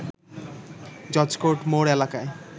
judge court মোড় এলাকায়